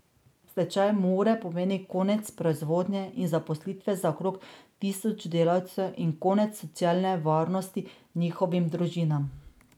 Stečaj Mure pomeni konec proizvodnje in zaposlitve za okrog tisoč delavcev in konec socialne varnosti njihovim družinam.